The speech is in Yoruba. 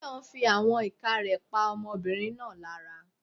Tayo fí àwọn ìka rẹ̀ pa ọmọbìnrin náà lára.